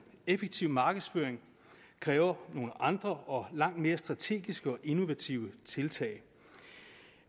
effektiv markedsføring kræver nogle andre og langt mere strategiske og innovative tiltag